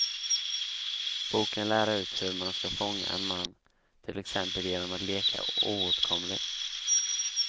Boken lär ut hur man ska fånga en man, till exempel genom att leka oåtkomlig.